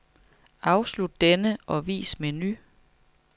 Afslut denne og vis menu.